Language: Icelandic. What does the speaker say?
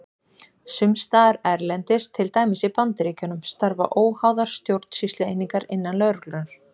Sums staðar erlendis, til dæmis í Bandaríkjunum, starfa óháðar stjórnsýslueiningar innan lögreglunnar.